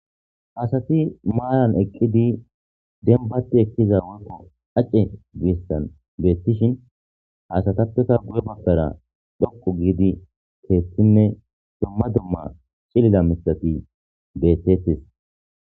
asati maayan eqqidi denbati ekkiza worko acce giessan geettishin hasatappeta gu7e baggara dhoqu giidi keetinne domma domma cilila misati beettettis